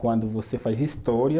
Quando você faz História,